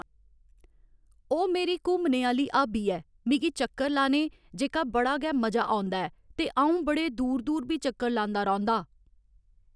ओह् मेरी घूमने आह्‌ली हाबी ऐ मिगी चक्कर लाने जेह्का बड़ा गै मजा औंदा ऐ ते अ'ऊं बड़े दूर दूर बी चक्कर लांदा रौंह्दा